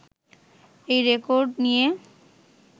এই রেকর্ড নিয়ে